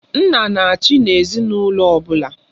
Nna na-achị n'ezinaụlọ ọbụla.